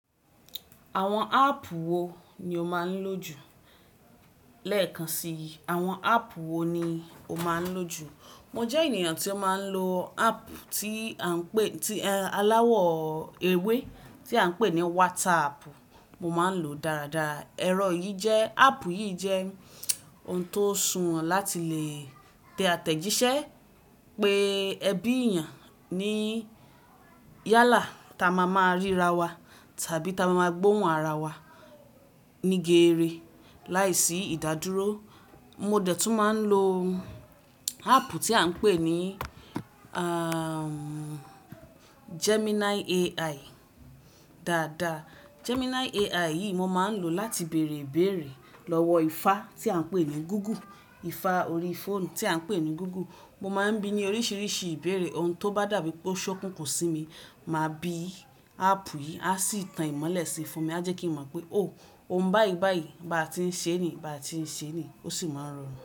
Àwọn áàpù wo ni o máa ń lò jù? Lẹ́ẹ̀kan si, àwọn áàpù wo ni o máa ń lò jù? Mo jẹ́ ènìyàn tí ó máa ń lo áàpù tí a ń pè, tí aláwọ̀ ewé tí a ń pè ní WhatsApp, mo máa ń lò dáradára. Ẹ̀rọ yìí jẹ́, áàpù yìí jẹ́ oun tó sùnwọ̀ láti lè tẹ àtẹ̀jíṣẹ́ pé ẹbí èyàn ní yálà táa máa máa ríra wa tàbí táa máa máa gbóhùn ara wa ní gere láìsí ìdádúró. Mo dẹ̀ tún máa ń lo áàpù tí a ń pè ní, à- Gemini AI dáadaa. Gemini AI yìí mo máa ń lò láti bèèrè ibèèrè lọ́wọ́ ifá tí a ń pè ní Google, ifá orí fóònù tí a ń pè ní Google. Mo máa ń bi ní oríṣiríṣi ìbéèrè, oun tó bá dàbí pé ó ṣókùnkùn sí mi, màá bi áàpù yìí, a sì tan ìmọ́lẹ̀ sí fún mi. A jẹ́ kín mọ̀ pé "O! Oun báyìí báyìí, bá tiń ṣe ní, bá tiń ṣe ní", ó sì máa rọrùn.